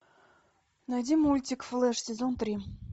найди мультик флэш сезон три